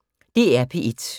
DR P1